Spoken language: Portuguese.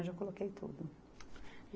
Eu já coloquei tudo.